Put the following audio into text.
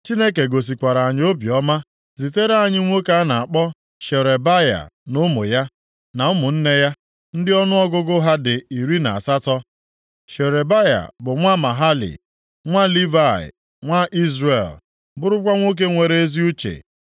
Chineke gosikwara anyị obiọma zitere anyị nwoke a na-akpọ Sherebaya na ụmụ ya, na ụmụnne ya, ndị ọnụọgụgụ ha dị iri na asatọ (18). Sherebaya bụ nwa Mahali, nwa Livayị nwa Izrel, bụrụkwa nwoke nwere ezi uche.